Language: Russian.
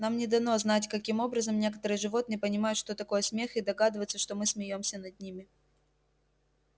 нам не дано знать каким образом некоторые животные понимают что такое смех и догадываются что мы смеёмся над ними